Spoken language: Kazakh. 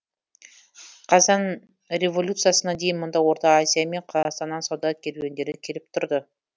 қазан революциясына дейін мұнда орта азия мен қазақстаннан сауда керуендері келіп тұрды